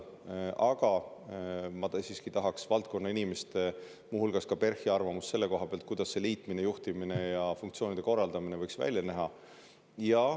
Aga ma tahaksin siiski kuulda valdkonnainimeste, muu hulgas PERH-i arvamust selle kohta, kuidas see liitmine, juhtimine ja funktsioonide korraldamine võiks välja näha.